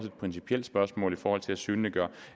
et principielt spørgsmål i forhold til at synliggøre